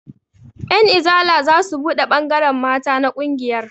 Ƴan izala zasu buɗe ɓangaren mata na ƙungiyar